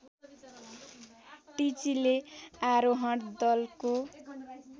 टिचीले आरोहण दलको